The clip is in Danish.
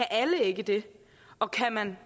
alle ikke det og kan